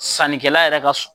Sannikɛla yɛrɛ ka sɔn